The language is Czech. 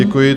Děkuji.